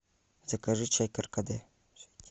закажи чай каркаде